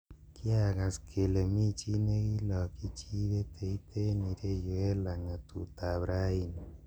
"Kiagas kele mi chi nekilokyi chi peteit en ireyu en langatutab raini.